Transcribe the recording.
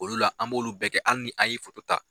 Olu la an b'olu bɛɛ kɛ hali ni an y'i ta